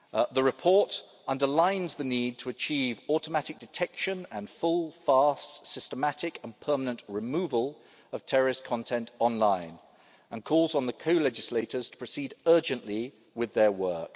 The report underlines the need to achieve automatic detection and full, fast, systematic and permanent removal of terrorist content online, and calls on the co legislators to proceed urgently with their